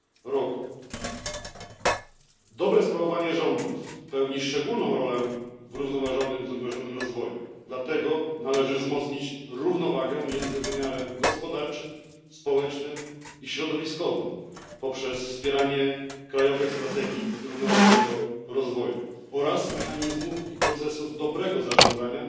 r. Dobre sprawowanie rządów pełni szczególną rolę w zrównoważonym rozwoju, dlatego należy wzmocnić równowagę między wymiarem gospodarczym, społecznym i środowiskowym poprzez wspieranie krajowych strategii zrównoważonego rozwoju oraz mechanizmów i procesów dobrego zarządzania